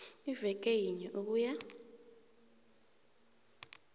iveke yinye ukuya